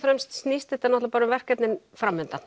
fremst snýst þetta bara um verkefnin